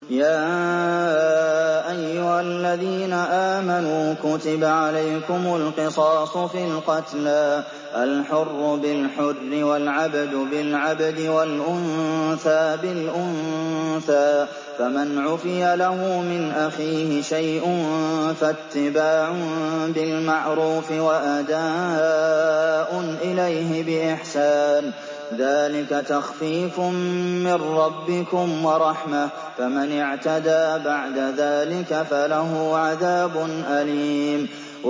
يَا أَيُّهَا الَّذِينَ آمَنُوا كُتِبَ عَلَيْكُمُ الْقِصَاصُ فِي الْقَتْلَى ۖ الْحُرُّ بِالْحُرِّ وَالْعَبْدُ بِالْعَبْدِ وَالْأُنثَىٰ بِالْأُنثَىٰ ۚ فَمَنْ عُفِيَ لَهُ مِنْ أَخِيهِ شَيْءٌ فَاتِّبَاعٌ بِالْمَعْرُوفِ وَأَدَاءٌ إِلَيْهِ بِإِحْسَانٍ ۗ ذَٰلِكَ تَخْفِيفٌ مِّن رَّبِّكُمْ وَرَحْمَةٌ ۗ فَمَنِ اعْتَدَىٰ بَعْدَ ذَٰلِكَ فَلَهُ عَذَابٌ أَلِيمٌ